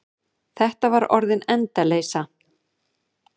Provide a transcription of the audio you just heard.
Þetta var orðin endaleysa.